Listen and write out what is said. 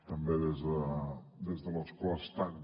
també des de l’escó estant